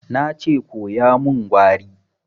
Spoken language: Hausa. Na ce koya min Gwari!